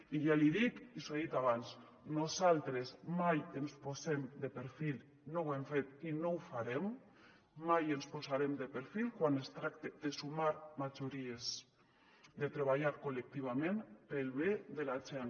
i ja li dic i li ho he dit abans nosaltres mai ens posem de perfil no ho hem fet i no ho farem mai ens posarem de perfil quan es tracta de sumar majories de treballar col·lectivament pel bé de la gent